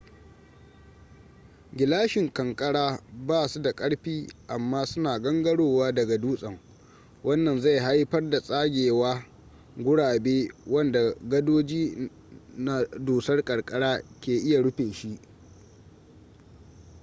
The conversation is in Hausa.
gilashin kankara ba su da ƙarfi amma suna gangarowa daga dutsen wannan zai haifar da tsagewa gurabe wanda gadoji na dusar ƙanƙara ke iya rufe shi